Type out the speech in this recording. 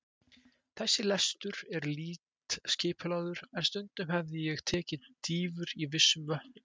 Þessi lestur er lítt skipulagður, en stundum hefi ég tekið dýfur í vissum vötnum.